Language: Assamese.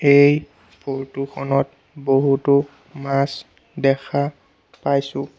এই ফটো খনত বহুতো মাছ দেখা পাইছোঁ।